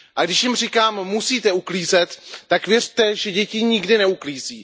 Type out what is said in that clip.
Když jim říkám, že musejí uklízet, tak věřte, že děti nikdy neuklízí.